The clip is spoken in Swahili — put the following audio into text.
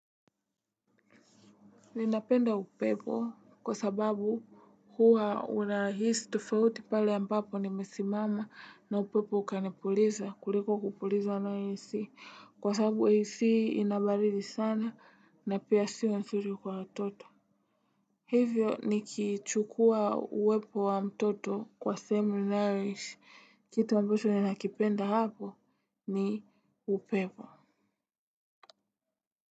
Ninapenda upepo kwa sababu huwa unahisi tofauti pale ambapo nimesimama na upepo ukanipuliza kuliko kupulizwa na ac kwa sababu ac ina baridi sana na pia sio nzuri kwa watoto. Hivyo nikichukua uwepo wa mtoto kwa sehemu ninayoishi, kitu ambacho ninakipenda hapo ni upepo.